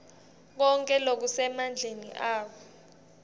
konkhe lokusemandleni abo